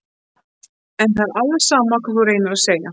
En það er alveg sama hvað þú reynir að segja.